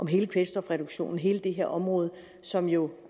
hele kvælstofreduktionen hele det her område som jo